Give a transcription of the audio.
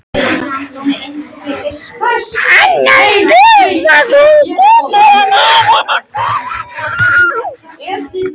Annað veifið gýtur hann augunum til hennar.